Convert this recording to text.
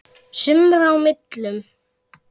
sumra á millum.